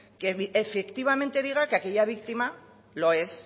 que efectivamente diga que aquella víctima lo es